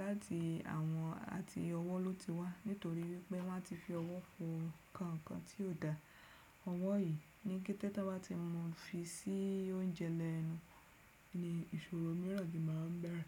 láti àwọn àti ọwọ́ ló ti wá nítorí wípé wọ́n ti fi ọwọ́ fọ ǹkan kan tí ò da. Ọwọ́ yìí ní kété tí wọ́n bá ti mọ fi sí oúnjẹ lọ ẹnu ni ìṣòro mìíràn gí máa bẹ̀rẹ̀.